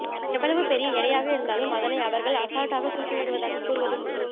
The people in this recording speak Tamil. எவ்வளவு பெரிய எடையாக இருந்தாலும் அதனை அவர்கள் அசால்ட்டாக தூக்கிவிடுவதாக கூறுவதும் உண்டு